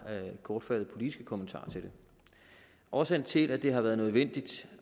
kortfattede politiske kommentarer til det årsagen til at det har været nødvendigt